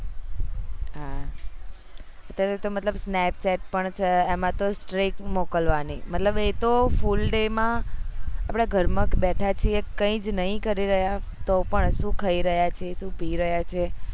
હા અત્યારે તો મતલબ snapchat પણ છે એમાં તો મોકલવાની મતલબ એતો full day માં આપડા ઘર માં કે બેઠા છીએ કઈ જ નહી કરી રહ્યા તો પણ સુ ખાઈ રહ્યા છે સુ પી રહ્યા છે